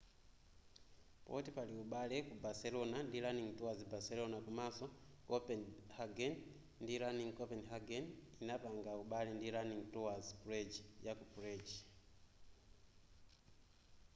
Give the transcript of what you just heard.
poti pali ubale ku barcelona ndi running tours barcelona komanso ku copenhagen ndi running copenhagen inapanga ubale ndi runing tours prague yaku prague